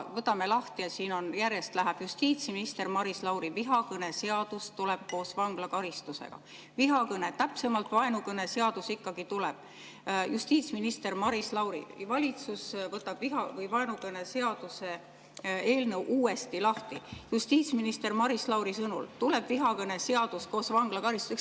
Võtame lahti ja siin on järjest: "Justiitsminister Maris Lauri: vihakõneseadus tuleb koos vanglakaristusega"; "Vihakõne‑, täpsemalt vaenukõneseadus ikkagi tuleb"; "Justiitsminister Maris Lauri: valitsus võtab viha‑ või vaenukõneseaduse eelnõu uuesti lahti"; "Justiitsminister Maris Lauri sõnul tuleb vihakõneseadus koos vanglakaristusega".